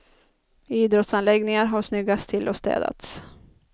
Idrottsanläggningar har snyggats till och städats.